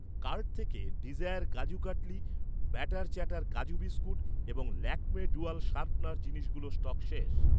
Cart থেকে desire kaju katli, batter chatter kaju biscuit এবং Lakme dual sharpener জিনিসগুলোর স্টক শেষ।